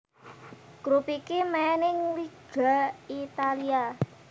Grup iki main ing Liga Italia